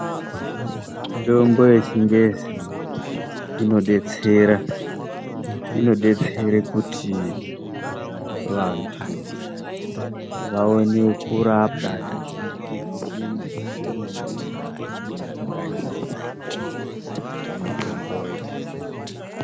Mitombo yechingezi inodetsera. Inodetsere kuti vantu vaone kurapwa veishandise zvipimo zvemene mene zvinenge zvakanyorwapo pamitomboyo